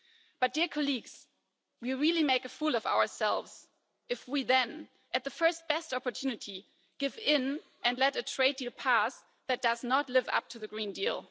But dear colleagues, we really make a fool of ourselves if we then, at the first best opportunity, give in and let a trade deal pass that does not live up to the Green Deal.